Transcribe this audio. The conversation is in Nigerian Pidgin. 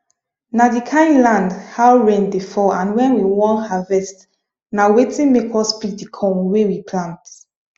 na the kind land how rain dey fall and when we wan harvest na wetin make us pick the corn wey we plant